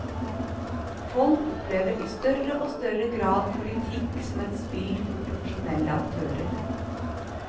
Folk opplever i større og større grad politikk som et spill for profesjonelle aktører.